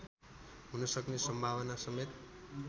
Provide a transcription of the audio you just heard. हुन सक्ने सम्भावनासमेत